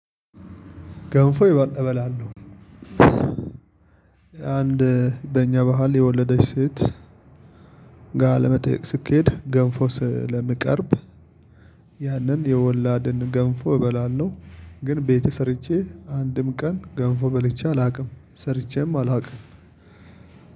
ገንፎ እበላለሁ። አንድ በእኛ ባህል የወለደች ሴት ጋር ለመጠየቅ ሲኬድ ገንፎ ስለሚቀርብ። ያንን የወላድን ገንፎ እበላለሁ። ግን ቤት ሰርቼ አንድም ቀን ገንፎ በልቼ አላውቅም። ሰርቼም አላውቅም።